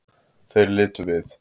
Þeir litu við.